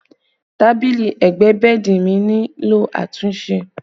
Tábìlì ẹgbẹ́ bẹ́ẹ̀dì mi nílò àtúnṣe